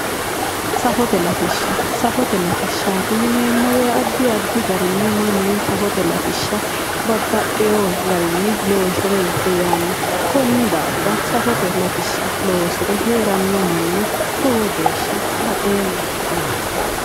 Safote latishsha safote latishshaati yineemo woye addi addi garinni mannu safote latishsha babbaxxewo garinni loosire heeranno konni daafira safote latishsha loosire heeranno manna lowo geesshsha baxeemma